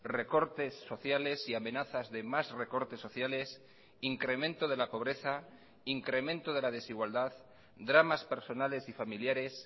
recortes sociales y amenazas de más recortes sociales incremento de la pobreza incremento de la desigualdad dramas personales y familiares